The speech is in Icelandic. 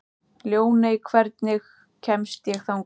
Ljóney, hvernig kemst ég þangað?